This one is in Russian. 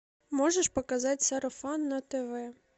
можешь показать сарафан на тв